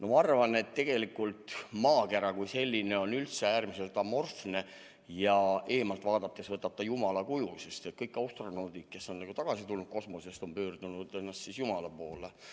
Ma arvan, et tegelikult maakera kui selline on üldse äärmiselt amorfne ja eemalt vaadates võtab ta jumala kuju, sest kõik astronaudid, kes on tagasi tulnud kosmosest, on pöördunud jumala poole.